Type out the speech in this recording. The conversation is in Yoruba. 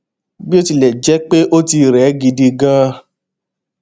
bó tilè jé pé ó ti rè é gidi ganan